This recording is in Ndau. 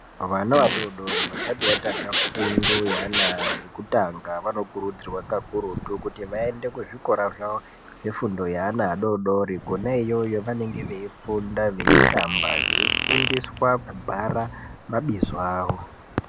Vana vadori dori vasati vatanga fundo yeana ekutanga vanokurudzirwa kakurutu kuti vaende kuzvikora zvavo zvefundo yeana adori dori. Kona iyoyo vanenge veyifunda, veyitamba, veifundiswa kubhara mabizo avo.